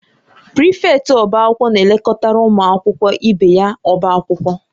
Prịfektị ọbá akwụkwọ na-elekọtara ụmụ akwụkwọ ibe ya ọbá akwụkwọ